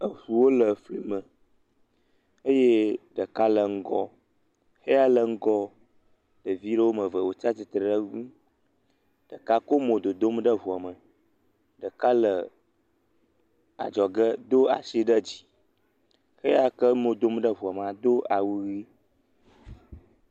Eŋuwo le fli me eye ɖeka le ŋgɔ. Xeya le ŋgɔa, ɖevi aɖewo wɔme eve wotsi atstre ɖe eŋu. Ɖeka kɔ mo dodom ɖe ŋua me, ɖeka le adzɔge do asi ɖe dzi. Xeya k emo dom ɖe ŋua me do awu ʋi.